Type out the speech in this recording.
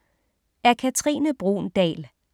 Af Katrine Bruun Dahl